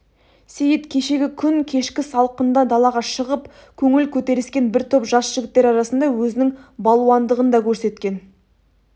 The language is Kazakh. сейіт кешегі күн кешкі салқында далаға шығып көңіл көтеріскен бір топ жас жігіттер арасында өзінің балуандығын да көрсеткен